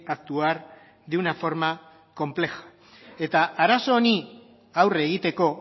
actuar de una forma compleja eta arazo honi aurre egiteko